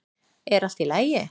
Er allt í lagi?